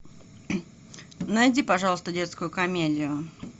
найди пожалуйста детскую комедию